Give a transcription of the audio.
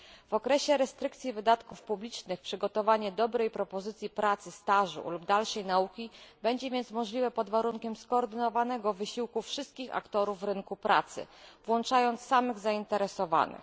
W okresie ograniczania wydatków publicznych przygotowanie dobrej propozycji pracy, stażu lub dalszej nauki będzie więc możliwe pod warunkiem skoordynowanego wysiłku wszystkich aktorów rynku pracy, włączając samych zainteresowanych.